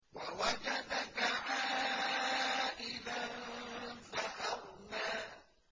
وَوَجَدَكَ عَائِلًا فَأَغْنَىٰ